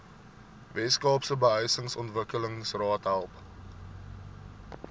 weskaapse behuisingsontwikkelingsraad help